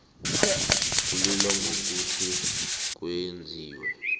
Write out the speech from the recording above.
kulilwa ngokuthi kwenziwe